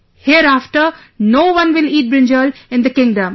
Hereafter, no one will eat brinjal in the kingdom